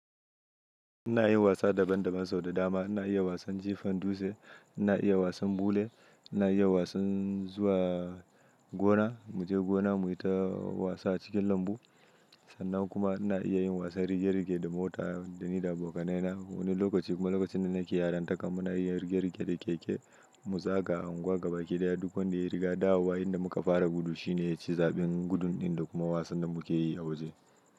Ina yin wasa daban-daban sau da dama. Ina iya wasan jifan dutse, ina iya wasan bule, ina iya wasan zuwa gona. Mu je gona mu yi ta wasa a cikin lambu sannan kuma ina iya yin wasan rige-rige da mota da ni da abokanai na. Wani lokaci kuma lokacin da nake yaranta kuma ina iya yin rigar-rige da keke. Mu za ga unguwa gaba ɗaya duk wadda ya riga dawo wa. Inda muka fara gudu shine ya ci zaɓin gudun din da kuma wasan da muke yi a waje.